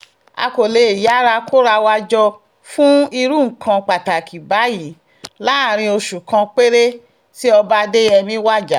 a kò lè yára kóra wa jọ fún irú nǹkan pàtàkì báyìí láàrin oṣù kan péré tí ọba adéyẹmi wájà